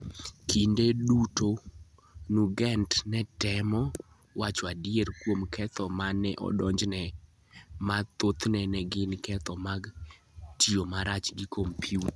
Kinde duto Nugent ne temo wacho adier kuom ketho ma ne odonjne, ma thothne ne gin ketho mag "tiyo marach gi kompyuta".